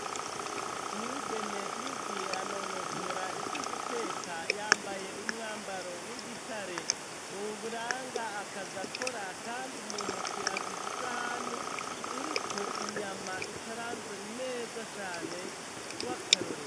Umwigeme yigiye anonosora ivy'uguteka, yambaye umwambaro w'igitare uranga akazi akora kandi mu ntoke afise isahani iriko inyama ikaranze neza cane w'akarorero.